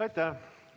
Aitäh!